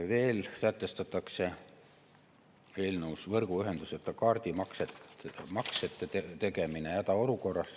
Veel sätestatakse eelnõus võrguühenduseta kaardimaksete tegemine hädaolukorras.